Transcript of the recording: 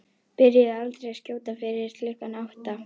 Byrjuðu aldrei að skjóta fyrir klukkan átta.